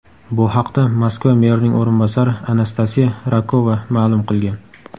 Bu haqda Moskva merining o‘rinbosari Anastasiya Rakova ma’lum qilgan .